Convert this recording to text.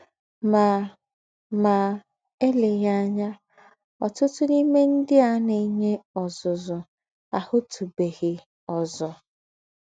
Mà Mà èlèghí ànyà, ọ̀tùtù n’íme ńdị́ à ná-ènyè ọ́zùzù àhụ̀tùbèghị́ ózù.